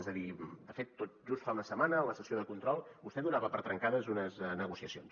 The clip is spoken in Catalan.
és a dir de fet tot just fa una setmana en la sessió de control vostè donava per trencades unes negociacions